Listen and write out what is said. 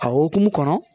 A hukumu kɔnɔ